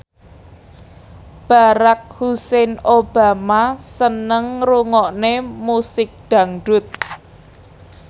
Barack Hussein Obama seneng ngrungokne musik dangdut